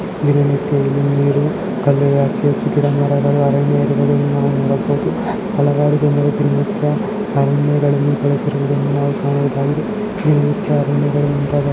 ದಿನನಿತ್ಯ ಇಲ್ಲಿ ನೀರು ಕಲ್ಲುಗಳು ಅತಿ ಹೆಚ್ಚು ಗಿಡಮರಗಳು ಅರಣ್ಯಗಳನ್ನು ನೋಡಬಹುದು ಹಲವಾರು ಜನರು ದಿನ ನಿತ್ಯ ಅರಣ್ಯಗಳನ್ನು ಬಳಸಿರುವುದನ್ನು ನಾವು ಕಾಣಬಹುದಾಗಿದೆ ದಿನನಿತ್ಯ ಅರಣ್ಯಗಳನ್ನು ಮುಂತಾದ --